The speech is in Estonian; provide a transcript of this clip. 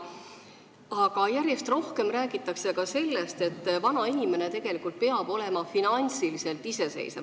Aga järjest rohkem räägitakse ka sellest, et vana inimene tegelikult peab olema finantsiliselt iseseisev.